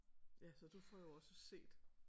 Ja så du får jo også set